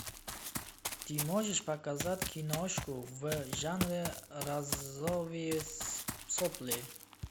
ты можешь показать киношку в жанре розовые сопли